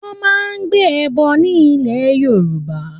Wọ́n máa ń gbé ẹbọ ní ilẹ̀ Yorùbá.